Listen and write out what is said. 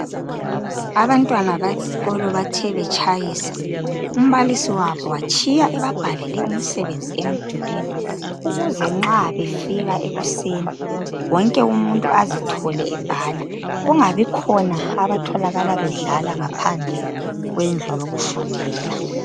Abantwana besikolo bathe betshayisa, umbalisi wabo watshiya ebabhalele umsebenzi emdulwini, ukuze nxa befika ekuseni, wonke umuntu azithole ebhala , kungabikhona abatholakala bedlala ngaphandle kwendlu yokufundela .